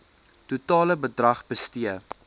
totale bedrag bestee